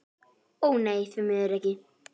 Ó nei, því miður ekki.